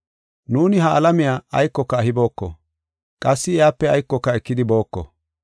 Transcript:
Nuuni ha alamiya aykoka ehibooko; qassi iyape aykoka ekidi booko.